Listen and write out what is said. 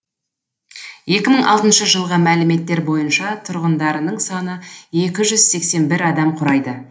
екі мың алтыншы жылғы мәліметтер бойынша тұрғындарының саны екі жүз сексен бір адам құрайды